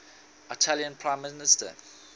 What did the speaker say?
italian prime minister